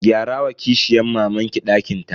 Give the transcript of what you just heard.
Gyara wa kishiyan mamanki dakin ta.